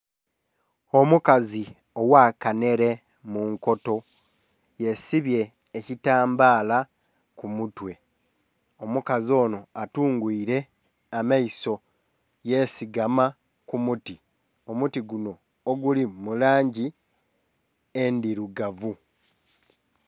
Omukazi ogha kanhele munkuto yesibye ekitambala ku mutwe. Omukazi onho athungwiile amaiso yesigama ku muti omuti gunho oguli mu langi endhilugavu.